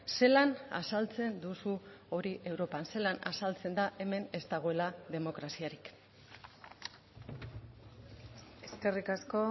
zelan azaltzen duzu hori europan zelan azaltzen da hemen ez dagoela demokraziarik eskerrik asko